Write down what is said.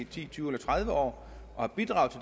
ti tyve eller tredive år og bidraget